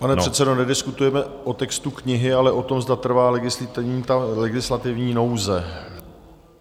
Pane předsedo, nediskutujeme o textu knihy, ale o tom, zda trvá legislativní nouze.